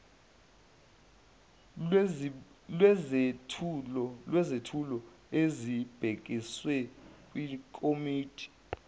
lwezethulo ezibhekiswe kwikomidi